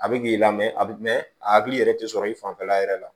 A bɛ k'i la mɛ a bɛ mɛn a hakili yɛrɛ tɛ sɔrɔ i fanfɛla yɛrɛ la